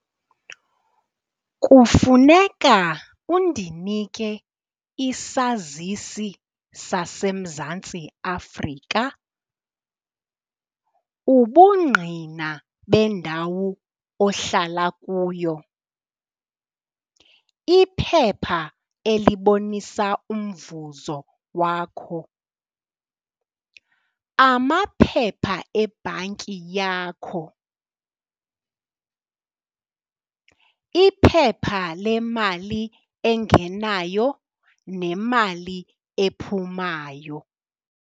Kufuneka undinike isazisi saseMzantsi Afrika, ubungqina bendawo ohlala kuyo, iphepha elibonisa umvuzo wakho, amaphepha ebhanki yakho, iphepha lemali engenayo nemali ephumayo.